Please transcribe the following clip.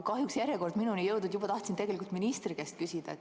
Kahjuks järjekord minuni ei jõudnud, tahtsin tegelikult juba ministri käest küsida.